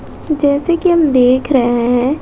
जैसे कि हम देख रहे हैं।